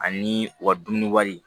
Ani u ka dumuni wari